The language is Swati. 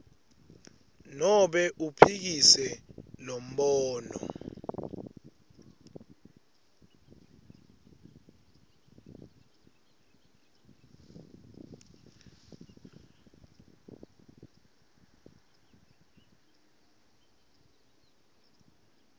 nobe uphikise lombono